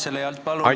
Palun seda hääletada!